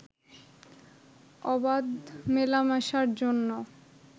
অবাধ মেলামেশার জন্য